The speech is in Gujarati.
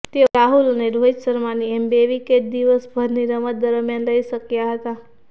તેઓ રાહુલ અને રોહિત શર્માની એમ બે વિકેટ દિવસભરની રમત દરમ્યાન લઈ શક્યા હતા